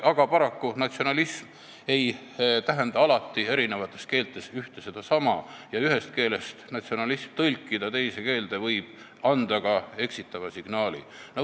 Aga paraku ei tähenda sõna "natsionalism" eri keeltes alati ühte- ja sedasama ning kui ühest keelest tõlkida sõna "natsionalism" teise keelde, siis võib see anda ka eksitava signaali.